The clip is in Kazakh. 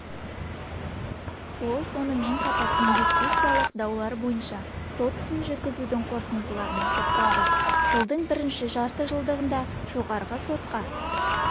ол сонымен қатар инвестициялық даулар бойынша сот ісін жүргізудің қорытындыларына тоқталды жылдың бірінші жартыжылдығында жоғарғы сотқа